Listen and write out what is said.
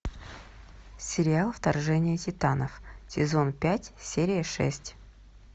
сериал вторжение титанов сезон пять серия шесть